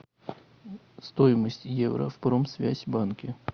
стоимость евро в промсвязьбанке